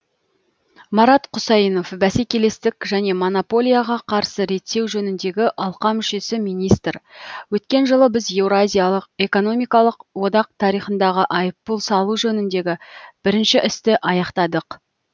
марат құсайынов бәсекелестік және монополияға қарсы реттеу жөніндегі алқа мүшесі министр өткен жылы біз еуразиялық экономикалық одақ тарихындағы айыппұл салу жөніндегі бірінші істі аяқтадық